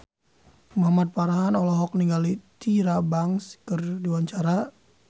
Muhamad Farhan olohok ningali Tyra Banks keur diwawancara